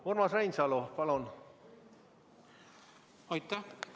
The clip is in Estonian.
Urmas Reinsalu, palun!